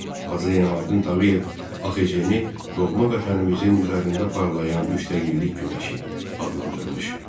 Hacı Zeynalabdin Tağıyev AXC-ni doğma vətənimizin üzərində parlayan müstəqillik günəşi adlandırmış.